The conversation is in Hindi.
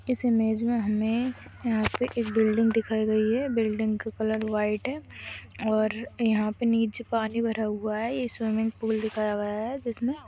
इस इमेज में हमें यहां पर एक बिल्डिंग दिखाई गई है बिल्डिंग का कलर व्हाइट है और यहां पर नीचे पानी भरा हुआ है ये स्विमिंग पूल दिखाया गया है जिस में--